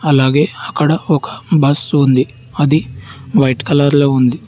అలాగే అక్కడ ఒక బస్సు ఉంది అది వైట్ కలర్ లో ఉంది.